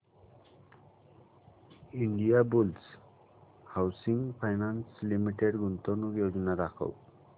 Indiabulls Housing Finance Limited गुंतवणूक योजना दाखव